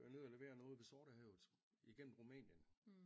Ned at levere noget ved Sortehavet igennem Rumænien